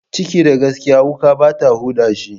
Ciki da gaskiya, wuƙa bata huda shi.